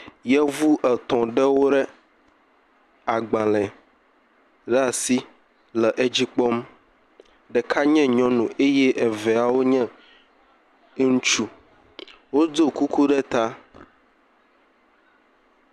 Yevu etɔ ɖewo ɖe agbale ɖe asi le edzi kpɔm. Ɖeka nye nyɔnu eye eveawo nye ŋutsu. Wodo kuku ɖe ta.